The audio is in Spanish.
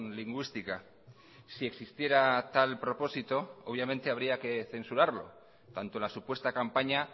lingüística si existiera tal propósito obviamente habría que censurarlo tanto la supuesta campaña